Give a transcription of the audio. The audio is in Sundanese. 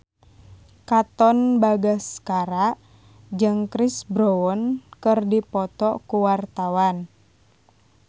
Katon Bagaskara jeung Chris Brown keur dipoto ku wartawan